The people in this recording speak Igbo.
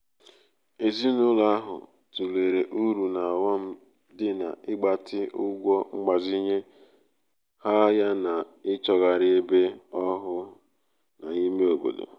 ezinụlọ ahụ tụlere uru na ọghọm dị n'ịgbatị ọghọm dị n'ịgbatị ụgwọ mgbazinye ha yana ịchọgharị ebe ọhụụ n’ime obodo